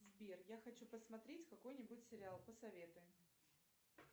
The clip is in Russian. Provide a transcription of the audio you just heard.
сбер я хочу посмотреть какой нибудь сериал посоветуй